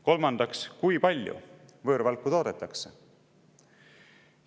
Kolmandaks, kui palju võõrvalku toodetakse?